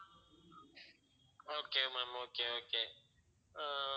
okay ma'am okay okay ah